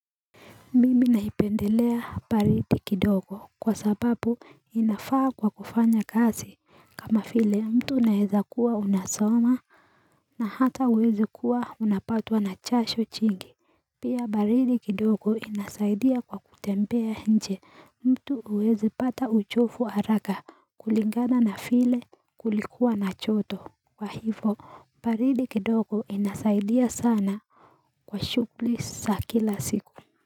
Mimi naipendelea baridi kidogo kwa sababu inafaa kwa kufanya kazi kama vile mtu unaeza kuwa unasoma na hata uwezi kuwa unapatwa na jasho jingi Pia baridi kidogo inasaidia kwa kutembea nje mtu huwezi pata uchovu haraka kulingana na vile kulikuwa na joto Kwa hivyo baridi kidogo inasaidia sana Kwa shughuli za kila siku.